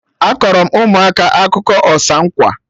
Akọrọ m ụmụaka akụkọ ọsa nkwa